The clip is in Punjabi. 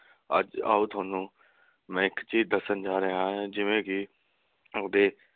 ਅੱਜ ਆਓ ਤੁਹਾਨੂੰ ਮੈਂ ਇਕ ਚੀਜ਼ ਦਸਣ ਜਾ ਰਹਿਆ ਹਾਂ ਜਿਵੇ ਕੇ ਆਪਦੇ